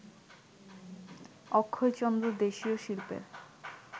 অক্ষয়চন্দ্র দেশীয় শিল্পের